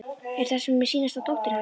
Er það sem mér sýnist að dóttir hans